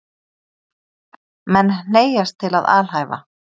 Menn hneigjast til að alhæfa.